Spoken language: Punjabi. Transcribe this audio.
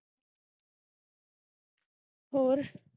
ਹੋਰ।